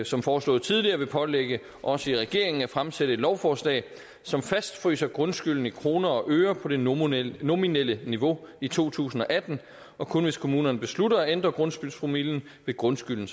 som foreslået tidligere vil pålægge os i regeringen at fremsætte et lovforslag som fastfryser grundskylden i kroner og øre på det nominelle nominelle niveau i to tusind og atten og kun hvis kommunerne beslutter at ændre grundskyldspromillen vil grundskylden